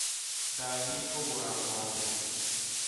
Ndathiĩ kũgũra ng'ombe